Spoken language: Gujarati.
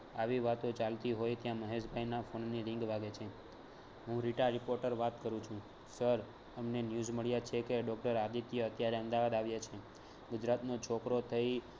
આવી વાતો ચાલતી હોય ત્યાં મહેશ ભાઈના phone ની ring વાગે છે. હું રીટા reporter વાત કરું છું sir અમને news મળ્યા છે કે doctor આદિત્ય અત્યારે અમદાવાદ આવ્યા છે ગુજરાતનો છોકરો થઈ